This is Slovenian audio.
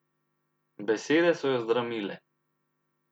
Besede so jo zdramile.